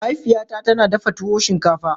Mahaifiyata tana dafa tuwo shinkafa.